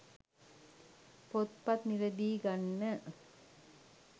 පොත්පත් මිලදී ගන්න